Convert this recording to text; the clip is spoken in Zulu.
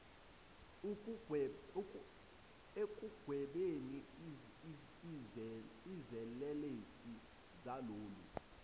ekugwebeni izelelesi zalolu